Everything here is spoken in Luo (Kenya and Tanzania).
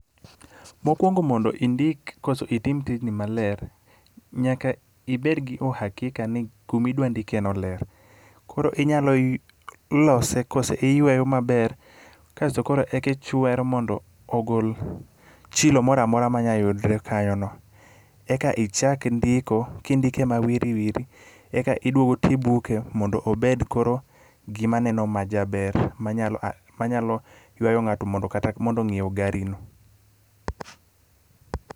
Mokuongo mondo indik koso itim tijni maler, nyaka ibedgi uhakika ni kuma idwa ndikeno ler. Koro inyalo lose kose iyweyo maber kaso koro eki ichwero mondo ogol chilo moro amora manya yudre kanyono eka ichak ndiko ki ndike mawiri wiri eka iduogo ti ibuke mondo obed koro gima neno majaber manyalo manyalo ywayo ng'ato mondo kata mondo ong'iew garino.